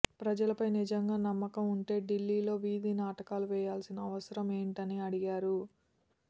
ప్రజలపై నిజంగా నమ్మకం ఉంటే ఢిల్లీలో వీధి నాటకాలు వేయాల్సిన అవసరం ఏంటని అడిగారు